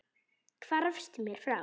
Hvarfst mér frá.